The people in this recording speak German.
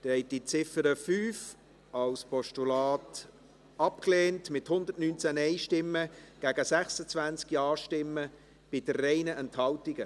Sie haben die Ziffer 5 als Postulat abgelehnt, mit 119 Nein- gegen 26 Ja-Stimmen bei 3 Enthaltungen.